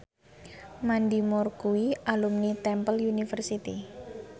Mandy Moore kuwi alumni Temple University